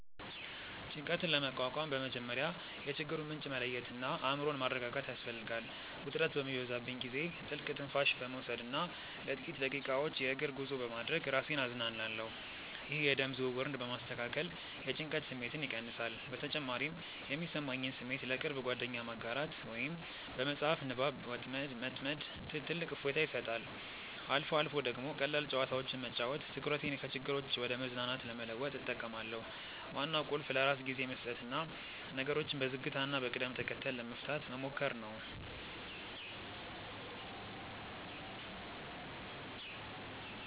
ጭንቀትን ለመቋቋም በመጀመሪያ የችግሩን ምንጭ መለየትና አእምሮን ማረጋጋት ያስፈልጋል። ውጥረት በሚበዛብኝ ጊዜ ጥልቅ ትንፋሽ በመውሰድና ለጥቂት ደቂቃዎች የእግር ጉዞ በማድረግ ራሴን አዝናናለሁ። ይህ የደም ዝውውርን በማስተካከል የጭንቀት ስሜትን ይቀንሳል። በተጨማሪም የሚሰማኝን ስሜት ለቅርብ ጓደኛ ማጋራት ወይም በመጽሐፍ ንባብ መጥመድ ትልቅ እፎይታ ይሰጣል። አልፎ አልፎ ደግሞ ቀላል ጨዋታዎችን መጫወት ትኩረቴን ከችግሮች ወደ መዝናናት ለመለወጥ እጠቀማለሁ። ዋናው ቁልፍ ለራስ ጊዜ መስጠትና ነገሮችን በዝግታና በቅደም ተከተል ለመፍታት መሞከር ነው።